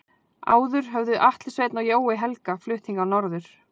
Áður höfðu Atli Sveinn og Jói Helga flutt hingað norður.